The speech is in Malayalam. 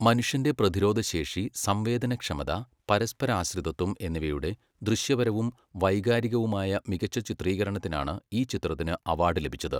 മനുഷ്യന്റെ പ്രതിരോധശേഷി, സംവേദനക്ഷമത, പരസ്പരാശ്രിതത്വം എന്നിവയുടെ ദൃശ്യപരവും വൈകാരികവുമായ മികച്ച ചിത്രീകരണത്തിനാണ് ഈ ചിത്രത്തിന് അവാർഡ് ലഭിച്ചത്.